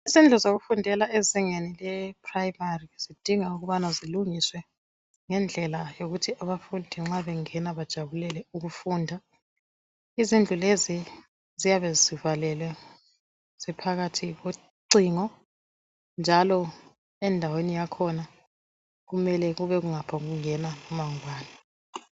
Izindlu zokufundela ezingeni le phuremari zidinga ukubana zilungiswe ngendlela yokuthi abafundi nxa bengena bajabulele ukufunda .Izindlu lezi ziyabe zivalelwe ziphakathi kocingo njalo endaweni yakhona kumele kube kungaphombukungena loba ngubani.